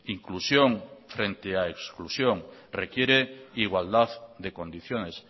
inclusión frente a exclusión requiere igualdad de condiciones